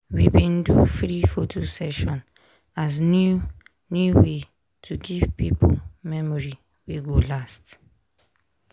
we bin do free photo session as new new way to give pipo memory wey go last.